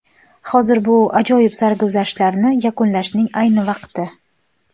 Hozir bu ajoyib sarguzashtlarni yakunlashning ayni vaqti.